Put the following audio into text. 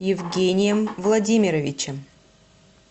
евгением владимировичем